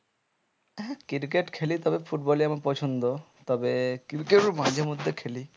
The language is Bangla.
হ্যাঁ cricket খেলি তবে football ই আমার পছন্দ তবে cricket ও মাঝে মধ্যে খেলি।